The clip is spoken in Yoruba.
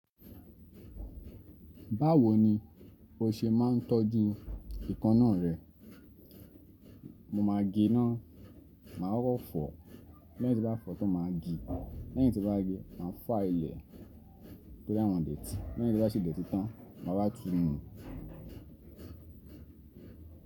Báwo ni o ṣe máa ń tọ́jú eekanna rẹ? Mo máa gé ná, màá kọ́kọ́ fọ, lẹ́yìn tí bá fọ̀ tó máa gé, lẹ́yìn tí bá ge máa file ẹ torí àwọn dè tì, lẹ́yìn tí bá ṣe dè tì tán, màá wá tù nu.